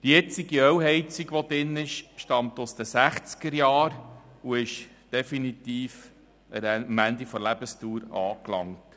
Die jetzige Ölheizung stammt aus den 1960erJahren und ist definitiv am Ende der Lebensdauer angelangt.